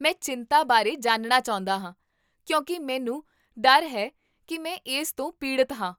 ਮੈਂ ਚਿੰਤਾ ਬਾਰੇ ਜਾਣਨਾ ਚਾਹੁੰਦਾ ਹਾਂ ਕਿਉਂਕਿ ਮੈਨੂੰ ਡਰ ਹੈ ਕੀ ਮੈਂ ਇਸ ਤੋਂ ਪੀੜਤ ਹਾਂ